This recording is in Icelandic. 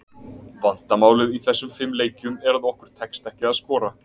Vandamálið í þessum fimm leikjum, er að okkur tekst ekki að skora.